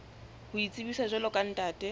ho itsebisa jwalo ka ntate